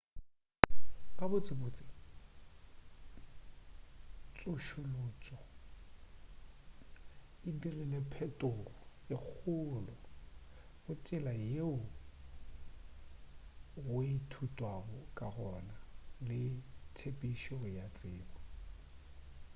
gabotsebotse tsošološo e dirile phetogo e kgolo go tsela yeo go ithutwago ka gona le tshepedišo ya tsebo